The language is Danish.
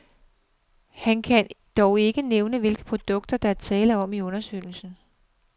Han kan dog ikke nævne, hvilke produkter, der er tale om i undersøgelsen.